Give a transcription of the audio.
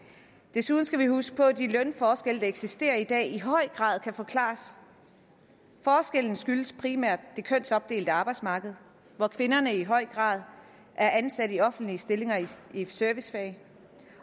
desuden skal vi huske på at de lønforskelle der eksisterer i dag i høj grad kan forklares forskellen skyldes primært det kønsopdelte arbejdsmarked hvor kvinderne i høj grad er ansat i offentlige stillinger i et servicefag